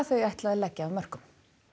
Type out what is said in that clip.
þau ætli að leggja af mörkum